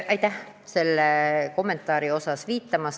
Aitäh sellele kommentaarile viitamast!